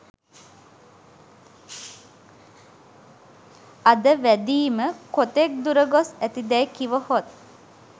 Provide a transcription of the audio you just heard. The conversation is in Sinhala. අද වැඳීම කොතෙක් දුර ගොස් ඇති දැයි කිවහොත්